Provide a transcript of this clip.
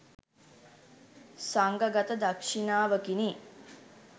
සංඝගත දක්ෂිණාවකිනි.